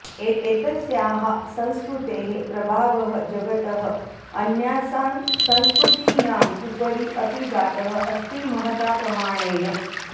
एतस्याः संस्कृतेः प्रभावः जगतः अन्यासां संस्कृतीनाम् उपरि अपि जातः अस्ति महता प्रमाणेन